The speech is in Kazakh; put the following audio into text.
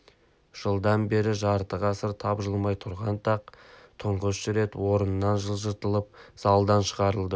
жылдан бері жарты ғасыр тапжылмай тұрған тақ тұңғыш рет орнынан жылжытылып залдан шығарылды